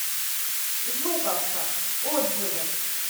жуковка отзывы